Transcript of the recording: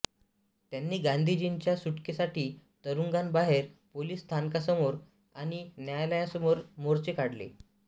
त्यांनी गांधीजींच्या सुटकेसाठी तुरुंगाबाहेर पोलिस स्थानकासमोर आणि न्यायालयासमोर मोर्चे काढले